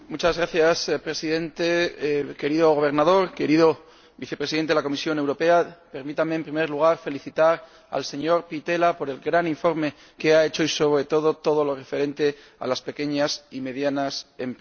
Señor Presidente, señor Gobernador, señor Vicepresidente de la Comisión Europea, permítanme, en primer lugar, felicitar al señor Pittella por el gran informe que ha hecho, sobre todo en todo lo referente a las pequeñas y medianas empresas.